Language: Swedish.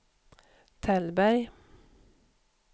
Tällberg